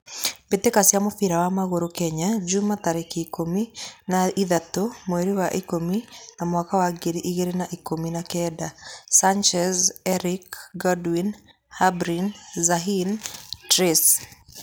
Mbitika cia mũbira wa magũrũ Kenya jumaa, tarekĩ ikũmi na ithatũ, mweri wa ikũmi na mwaka wa ngiri ĩgirĩ na ikũmi na kenda: Sanchez, Erick, Godwin, Harbin, zahin, Trace